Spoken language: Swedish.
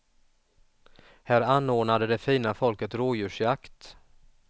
Här anordnade det fina folket rådjursjakt.